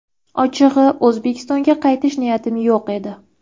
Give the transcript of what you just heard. Ochig‘i, O‘zbekistonga qaytish niyatim yo‘q edi.